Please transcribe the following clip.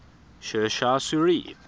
sher shah suri